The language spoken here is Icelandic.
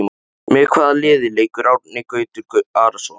Með hvaða liði leikur Árni Gautur Arason?